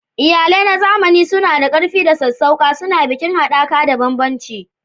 Iyalai na zamani suna da ƙarfi da sassauƙa, suna bikin haɗaka da bambancin.